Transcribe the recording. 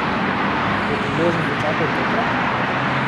Bo priložnost dočakal tokrat?